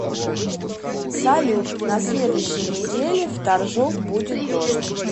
салют на следующей неделе в торжок будет дождь